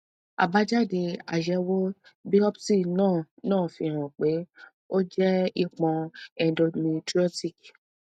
abájáde àyẹwò biopsi náà náà fi hàn pé ó jẹ ìpọn endometriotic